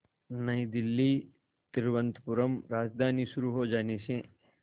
नई दिल्ली तिरुवनंतपुरम राजधानी शुरू हो जाने से